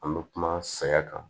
An bɛ kuma saya kan